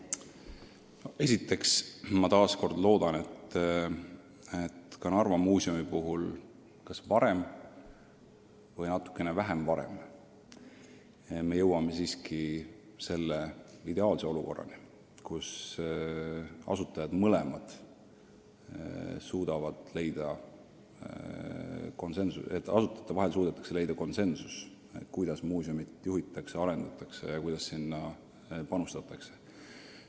Esiteks, ma väga loodan, et me jõuame Narva Muuseumi puhul varem või hiljem siiski selle ideaalse olukorrani, kus asutuste vahel on suudetud leida konsensus, kuidas muuseumi juhitakse ja arendatakse, kuidas sinna panustatakse.